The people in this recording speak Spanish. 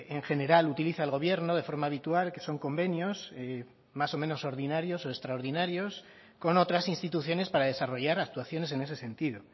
en general utiliza el gobierno de forma habitual que son convenios más o menos ordinarios o extraordinarios con otras instituciones para desarrollar actuaciones en ese sentido